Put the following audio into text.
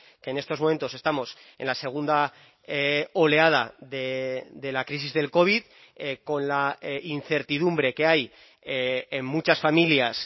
que en estos momentos estamos en la segunda oleada de la crisis del covid con la incertidumbre que hay en muchas familias